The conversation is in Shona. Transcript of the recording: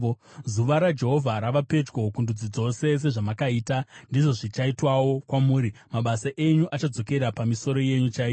“Zuva raJehovha rava pedyo kundudzi dzose. Sezvamakaita, ndizvo zvichaitwawo kwamuri; mabasa enyu achadzokera pamisoro yenyu chaiyo.